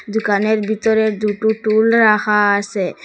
দুকানের ভিতরে দুটো টুল রাখা আসে।